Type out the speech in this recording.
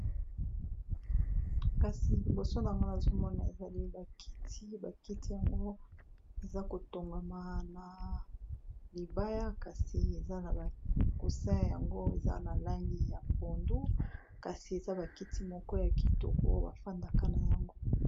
Kasi liboso na ynga nazomona ezali bakiti bakiti yango eza kotongama na libaya kasi eza na bakousin yango eza na langi ya pondu, kasi eza bakiti moko ya kitoko bafandaka na yango.